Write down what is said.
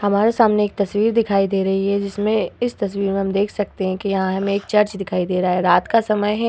हमारे सामने एक तस्वीर दिखाई दे रही है जिसमें इस तस्वीर में हम देख सकते हैं की यहाँ हमें एक चर्च दिखाई दे रहा है। रात का समय है।